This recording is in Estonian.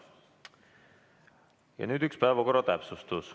Ja nüüd üks päevakorra täpsustus.